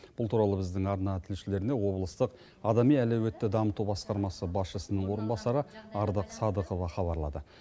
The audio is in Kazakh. бұл туралы біздің арна тілшілеріне облыстық адами әлеуетті дамыту басқармасы басшысының орынбасары ардақ садықова хабарлады